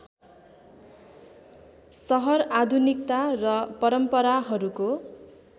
सहर आधुनिकता र परम्पराहरूको